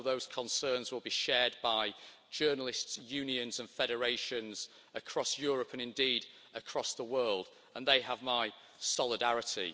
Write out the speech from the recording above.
I know those concerns will be shared by journalists, unions and federations across Europe and indeed across the world, and they have my solidarity.